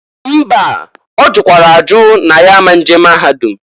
Mba! Ọ jụkwara ajụ n' ya a ma nje maahadụm.